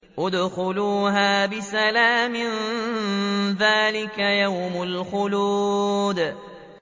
ادْخُلُوهَا بِسَلَامٍ ۖ ذَٰلِكَ يَوْمُ الْخُلُودِ